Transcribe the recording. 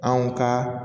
Anw ka